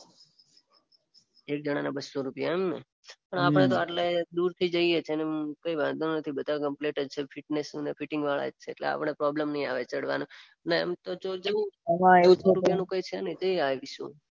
એક જણાના બસ્સો રૂપિયા એમને. પણ આપણે તો આટલા દૂરથી જઈએ છીએ અને કઈ વાંધો નથી બધા કમ્પ્લીટ જ છે ફિટનેસ અને ફિટિંગ માં વાત છે અને આપણને પ્રોબ્લમ નઈ આવે ચઢવાનો. ને આમતો બસ્સો રુપિયાનું એવું કઈ છે નઈ જઈ આવીશું.